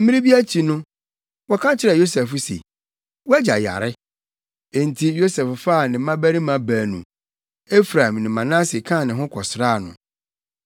Mmere bi akyi no, wɔka kyerɛɛ Yosef se, “Wʼagya yare.” Enti Yosef faa ne mmabarima baanu, Efraim ne Manase kaa ne ho kɔsraa no.